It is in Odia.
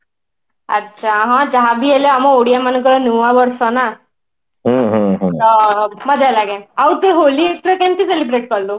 ଆଚ୍ଛା ହଁ ଯାହାବି ହେଲେ ଆମ ଓଡିଆ ମାନଙ୍କର ନୂଆ ବର୍ଷ ନା ମଜା ଲାଗେ ଆଉ ତୁ ହୋଲି ଏଥରେ କେମିତେ celebrate କଲୁ